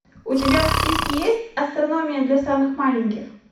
у тебя в списке есть астрономия для самых маленьких